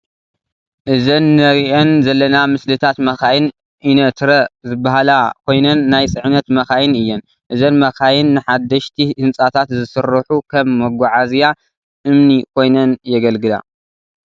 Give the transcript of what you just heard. እዘን ነሪአን ዘለና ምስልታት መኻይን ኢነትረ ዝበሃላ ኮይነን ናይ ፅዕነት መኻይን እየን ። እዘን መኻይን ንሓደሽቲ ህንፃታት ዝስርሑ ከም መጓዓዝያ እምኒ ኮይነነን የገልግላ ።